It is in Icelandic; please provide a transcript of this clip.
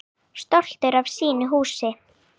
Stoltur af sínu húsi.